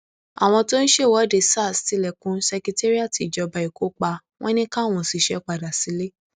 àwọn tó ń ṣèwọde sars tilẹkùn sèkẹrírátì ìjọba èkó pa wọn ní káwọn òṣìṣẹ padà sílé